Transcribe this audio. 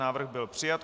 Návrh byl přijat.